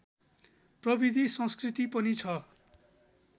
प्रविधि संस्कृति पनि छ